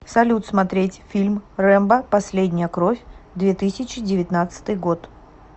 салют смотреть фильм рэмбо последняя кровь две тысячи девятнадцатый год